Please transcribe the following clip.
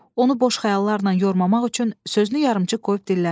Onu boş xəyallarla yormamaq üçün sözünü yarımçıq qoyub dilləndi.